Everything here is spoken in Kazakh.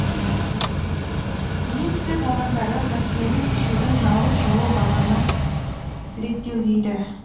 министрлік мамандары мәселені шешудің жалғыз жолы бағаны реттеу дейді